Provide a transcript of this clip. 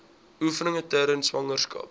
oefeninge tydens swangerskap